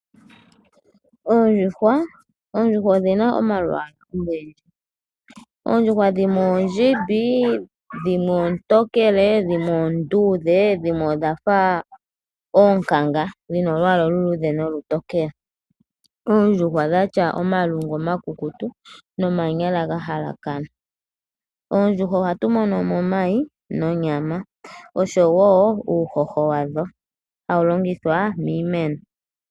Oondjuhwa odhina omalwalwa ogendji dhimwe oontokele, onduudhe dhimwe oonkanga, odhina omilungu omikukutu dhono hadhi longitha okushomona iikulya oshowo omanyala gokuhadha iikulya. Oondjuhwa ohadhi vala omayi oshowo uuhoho hawu longithwa okukuna iimeno.